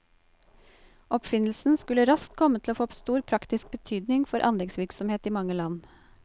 Oppfinnelsen skulle raskt komme til å få stor praktisk betydning for anleggsvirksomhet i mange land.